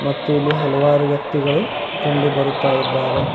ಮತ್ತು ಇಲ್ಲಿ ಹಲವಾರು ವ್ಯಕ್ತಿಗಳು ಕಂಡು ಬರುತ್ತ ಇದ್ದಾರೆ.